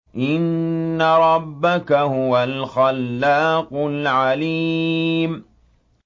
إِنَّ رَبَّكَ هُوَ الْخَلَّاقُ الْعَلِيمُ